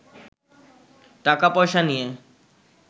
টাকা-পয়সা নিয়ে